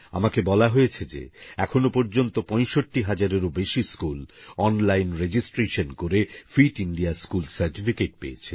আমাকে বলা হয়েছে যে এখনো পর্যন্ত ৬৫০০০এরও বেশী স্কুল অনলাইন রেজিস্ট্রেশন করে ফিট ইন্ডিয়া স্কুল সার্টিফিকেটপেয়েছে